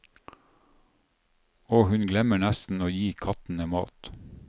Og hun glemmer nesten å gi kattene mat.